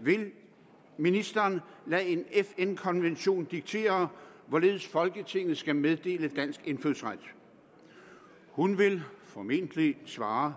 vil ministeren lade en fn konvention diktere hvorledes folketinget skal meddele dansk indfødsret hun vil formentlig svare